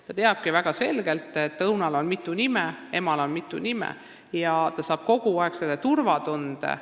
Ta teabki väga selgelt, et õunal ja emal on mitu nime, ja tal on kõneldes kogu aeg turvatunne.